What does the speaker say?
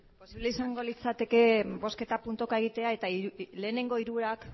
posible izango litzateke bozketa puntuka egitea eta lehenengo hiruak